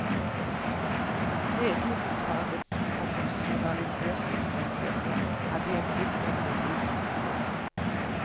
Ledelsesfagets profesjonaliseringspotensiale hadde i et slikt perspektiv trange kår.